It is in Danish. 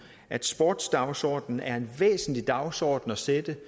at sportsdagsordenen er en væsentlig dagsorden at sætte